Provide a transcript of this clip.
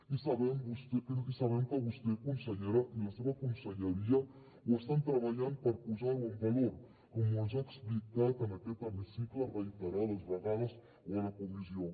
i sabem que vostè consellera i la seva conselleria ho estan treballant per posar ho en valor com ens ho ha explicat en aquest hemicicle reiterades vegades o a la comissió